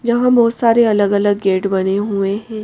यहाँ बहुत सारे अलग-अलग गेट बने हुए हैं।